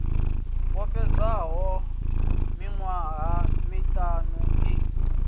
yo fhedzaho miṅwaha miṋa i